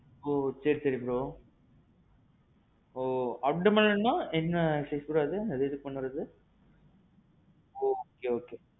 ஓ. சேரி சேரி bro. ஓ abdomenனா என்ன exercise bro, எதுக்கு பண்ணனும் அது? okay okay.